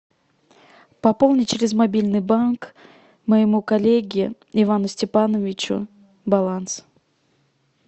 пополни через мобильный банк моему коллеге ивану степановичу баланс